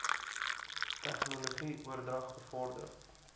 tegnologie oordrag bevorder